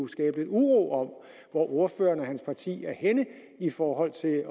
skabe uro om hvor ordføreren og hans parti er henne i forhold til at